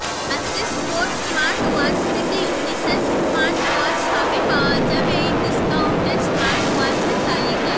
আজকে sports smartwatch থেকে unisex smartwatch সবই পাওয়া যাবে এই ডিস্কাউন্টেড স্মার্টওয়াচের তালিকায়